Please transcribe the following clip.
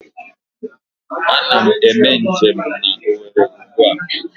Ana m eme njem na Owerri ugbua